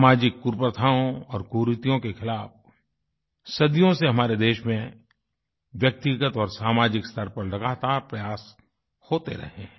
सामाजिक कुप्रथाओं और कुरीतियों के ख़िलाफ सदियों से हमारे देश में व्यक्तिगत और सामाजिक स्तर पर लगातार प्रयास होते रहे हैं